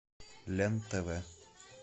лен тв